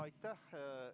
Aitäh!